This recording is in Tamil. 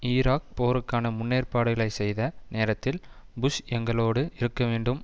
ஈராக் போருக்கான முன்னேற்பாடுகளை செய்த நேரத்தில் புஷ் எங்களோடு இருக்கவேண்டும்